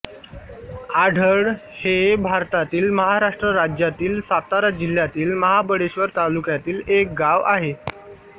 आढळ हे भारतातील महाराष्ट्र राज्यातील सातारा जिल्ह्यातील महाबळेश्वर तालुक्यातील एक गाव आहे